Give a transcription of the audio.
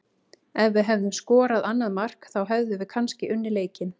Ef við hefðum skorað annað mark þá hefðum við kannski unnið leikinn.